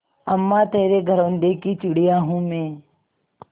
अम्मा तेरे घरौंदे की चिड़िया हूँ मैं